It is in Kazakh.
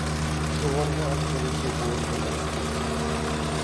жоғарғы атқарушы органы үкімет